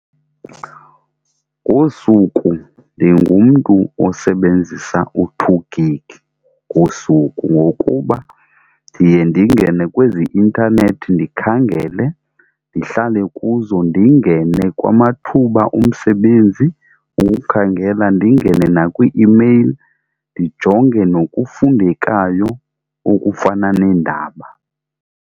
Ngosuku ndingumntu osebenzisa u-two gig ngosuku, ngokuba ndiye ndingene kwezi intanethi ndikhangele, ndihlale kuzo, ndingene kwamathuba omsebenzi ukukhangela, ndingene nakwii-imeyili ndijonge nokufundekayo okufana neendaba.